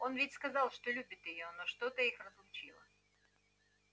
он ведь сказал что любит её но что-то их разлучило